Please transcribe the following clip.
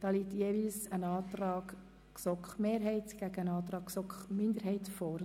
Hierzu liegen je ein Antrag GSoK-Mehrheit und ein Antrag GSoK-Minderheit vor.